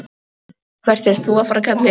Og hvert ert þú að fara, kallinn?